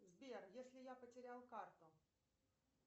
сбер если я потерял карту